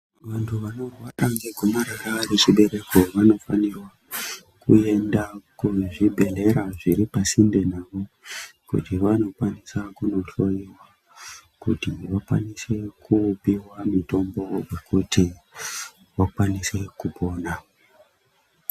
Vantu vanorwara ngegomarara rechibereko vanofanirwa kuenda kuzvibhehlera zviri pasinde navo kuti vanokwanisa kunohloiwa kuti vakwanise kupihwa mitombo kuti vakwanise kupona.